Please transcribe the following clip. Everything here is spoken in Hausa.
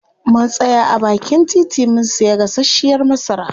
Mun tsaya a baakin titi mun siya gasashiyar masara.